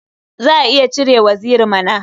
Za a iya cire waziri mana.